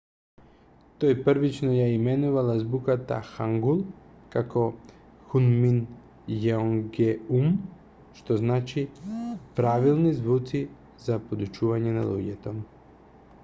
тој првично ја именувал азбуката хангул како хунмин јеонгеум што значи правилни звуци за подучување на луѓето